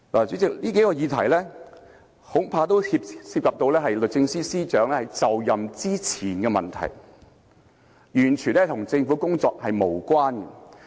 主席，以上數個問題恐怕涉及律政司司長在就任之前的問題，完全與政府的工作無關。